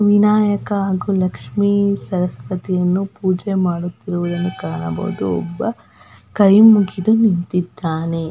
ವಿನಾಯಕ ಹಾಗು ಲಕ್ಷ್ಮಿ ಸರಸ್ವತಿಯನ್ನು ಪೂಜೆ ಮಾಡುತ್ತಿರುವುದನ್ನು ಕಾಣಬಹುದು ಒಬಬ ಕೈ ಮುಗಿದು ನಿಂತಿದ್ದಾನೆ.